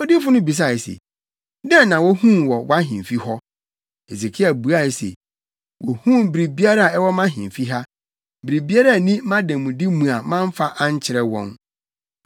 Odiyifo no bisae se, “Dɛn na wohuu wɔ wʼahemfi hɔ?” Hesekia buae se, “Wohuu biribiara a ɛwɔ mʼahemfi ha. Biribiara nni mʼademude mu a mamfa ankyerɛ wɔn.”